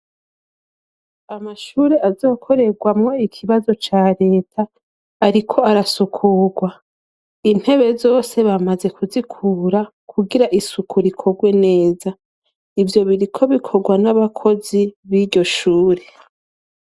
Amashuri azokorerwamo ikibazo cya leta ariko arasukurwa intebe zose bamaze kuzikura kugira isuku rikorwe neza ibyo biriko bikorwa n'abakozi b'iryoshure.